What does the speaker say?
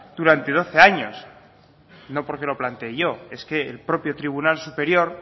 durante doce años no porque lo plantee yo es que el propio tribunal superior